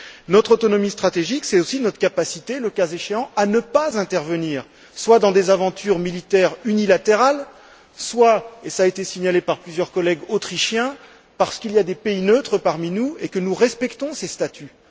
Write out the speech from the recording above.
Notre autonomie stratégique, c'est aussi notre capacité, le cas échéant, à ne pas intervenir, soit dans des aventures militaires unilatérales, soit et cela a été signalé par plusieurs collègues autrichiens parce qu'il y a des pays neutres parmi nous et que nous respectons ces statuts.